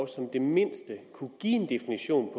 som det mindste kunne give en definition